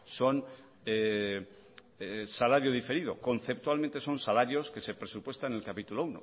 son salario diferido conceptualmente son salarios que se presupuestan en el capítulo